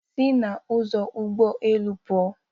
Sị n'ụzọ ụgbọ elu pụọ!